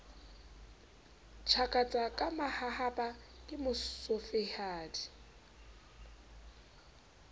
tjhakatsa ka mahahapa ke motsofehadi